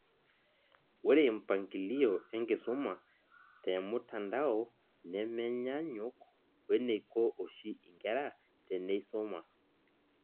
Ore mpangilio enkisuma te mtandao nemenyaanyuk weneiko oshi inkera teneisuma